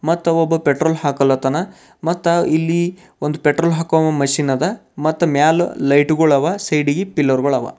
ಮತ್ತು ಒಬ್ಬ ಪೆಟ್ರೋಲ್ ಹಾಕ್ಲಾತ್ತನ ಮತ್ತ ಇಲ್ಲಿ ಒಂದು ಪೆಟ್ರೋಲ್ ಹಾಕೋ ಮೆಷಿನ್ ಅದ ಮತ್ತ ಮ್ಯಾಲ್ ಲೈಟ್ ಗಳವ ಸೈಡಿಗೆ ಪಿಲ್ಲರ್ ಗಳವ.